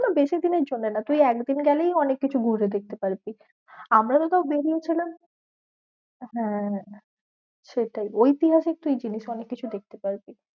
বেশি দিনের জন্য না তুই একদিন গেলেই অনেক কিছু ঘুরে দেখতে পারবি। আমরাও তো বেরিয়ে ছিলাম হ্যাঁ হ্যাঁ সেটাই ঐতিহাসিক তুই জিনিস অনেককিছু দেখতে পারবি।